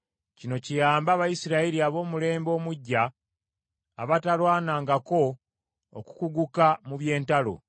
Kino kiyaambe Abayisirayiri ab’omulembe omuggya abatalwanangako okukuguka mu by’entalo.